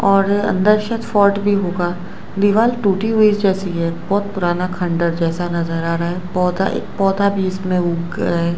और अंदर शायद फॉल्ट भी होगा दीवार टूटी हुई जैसी है बहोत पुराना खंडहर जैसा नजर आ रहा है पौधा एक पौधा भी इसमें उगा है।